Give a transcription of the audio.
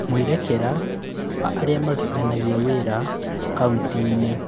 Mwerekera wa arĩa marutithanagia wĩra kaunti-inĩ